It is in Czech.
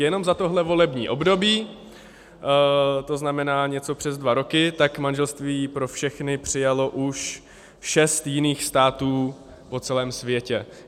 Jenom za tohle volební období, to znamená něco přes dva roky, tak manželství pro všechny přijalo už šest jiných států po celém světě.